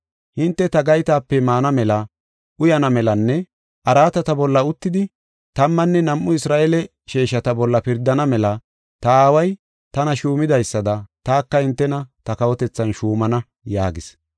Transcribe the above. Hinte ta gaytape maana mela, uyana melanne araatata bolla uttidi tammanne nam7u Isra7eele sheeshata bolla pirdana mela ta aaway tana shuumidaysada taka hintena ta kawotethan shuumana” yaagis.